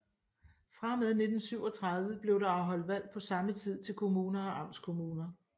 Fra og med 1937 blev der afholdt valg på samme tid til kommuner og amtskommuner